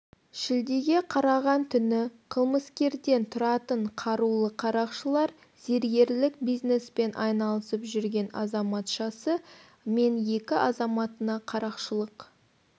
шілдеге қараған түні қылмыскерден тұратын қарулы қарақшылар зергерлік бизнеспен айналысып жүрген азаматшасы мен екі азаматына қарақшылық